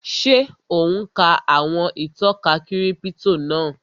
Ṣé ò ún ka àwọn ìtọ́ka kírípítò náà?